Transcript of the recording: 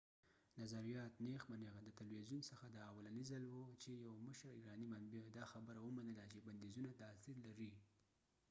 نظریات نیغ په نیغه د تلويزیون څخه دا اولنی ځل وه چې یو مشر ایرانی منبع دا خبره ومنله چې بنديزونه تاثیر لري